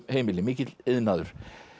heimili mikill iðnaður